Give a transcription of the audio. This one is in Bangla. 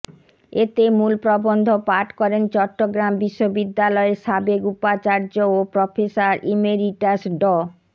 এতে মূল প্রবন্ধ পাঠ করেন চট্টগ্রাম বিশ্ববিদ্যালয়ের সাবেক উপাচার্য ও প্রফেসর ইমেরিটাস ড